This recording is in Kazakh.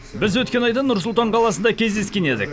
біз өткен айда нұр сұлтан қаласында кездескен едік